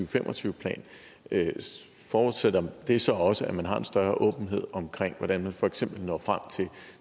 fem og tyve plan forudsætter det så også at man har en større åbenhed om hvordan man for eksempel når frem